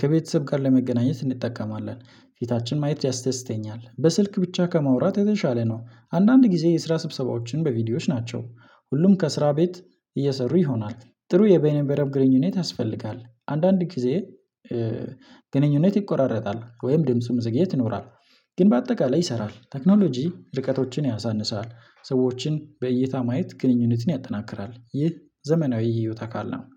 ከቤተሰብ ጋር ለመገናኘት እንጠቀማለን። ፊታችን ማየት ያስተስተኛል በስልክ ብቻ ከማውራት የተሻለ ነው። አንዳንድ ጊዜ የስራ ስብሰባዎችን በቪዲዮዎች ናቸው። ሁሉም ከስራ ቤት እየሰሩ ይሆናል። ጥሩ የቤነ መረብ ግንኙነት ያስፈልጋል አንዳንድ ጊዜ ግንኙነት ይቆራረጣል ወይም ድምጽም ዝግየት ይኖራል። ግን በአጠቃላይ ይሰራል። ቴክኖሎጂ ርቀቶችን ያሳንሳል ሰዎችን በእይታ ማየት ግንኙነትን ያጠናክራል ይህ ዘመናዊ የህይወት አካል ነው።